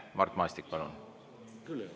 Mart Maastik, palun!